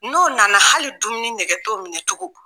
N'o nana hali dumuni nɛgɛ t'o minɛ tugun